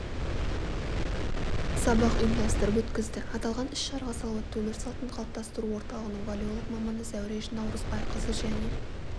сабақ ұйымдастырып өткізді аталған іс-шараға салауатты өмір салтын қалыптастыру орталығының валеолог маманы зәуреш наурызбайқызы және